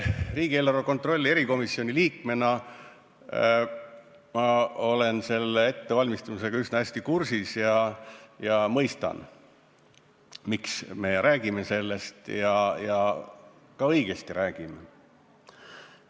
Riigieelarve kontrolli erikomisjoni liikmena olen ma ettevalmistustega üsna hästi kursis ja mõistan, miks me sellest räägime, ja ka õigesti räägime.